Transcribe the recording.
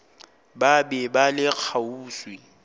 ba be ba le kgauswi